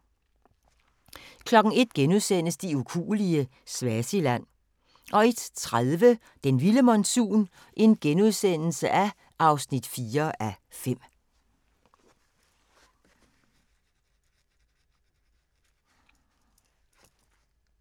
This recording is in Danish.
01:00: De ukuelige – Swaziland * 01:30: Den vilde monsun (4:5)*